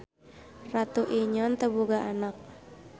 Ratu Inhyeon teu boga anak.